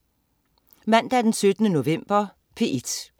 Mandag den 17. november - P1: